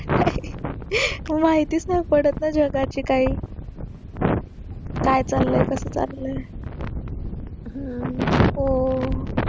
माहीती च नाही पडत ना जगाची काही काय चाललंय कसं चाललंय